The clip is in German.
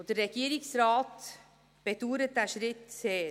Der Regierungsrat bedauert diesen Schritt sehr.